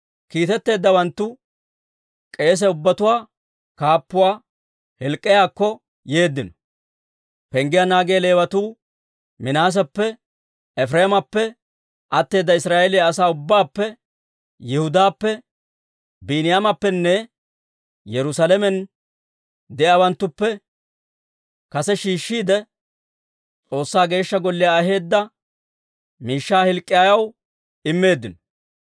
Kiitetteeddawanttu k'eese ubbatuwaa kaappuuwaa Hilk'k'iyaakko yeeddino. Penggiyaa naagiyaa Leewatuu Minaaseppe, Efireemappe, atteeda Israa'eeliyaa asaa ubbaappe, Yihudaappe, Biiniyaameppenne Yerusaalamen de'iyaawanttuppe kase shiishshiide, S'oossaa Geeshsha Golliyaa aheedda miishshaa Hilk'k'iyaw immeeddino.